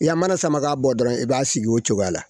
I ya mana sama ka bɔ dɔrɔn i b'a sigi o cogoya la